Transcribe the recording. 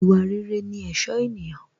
Ìwà rere ní ẹ̀ṣọ́ ènìyàn